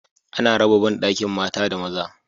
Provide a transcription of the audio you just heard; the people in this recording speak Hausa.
Ana raba ban bandakin mata da maza